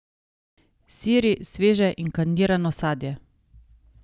Siri, sveže in kandirano sadje.